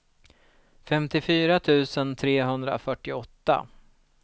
femtiofyra tusen trehundrafyrtioåtta